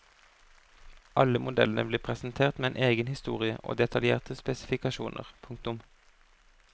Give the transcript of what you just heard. Alle modellene blir presentert med en egen historie og detaljerte spesifikasjoner. punktum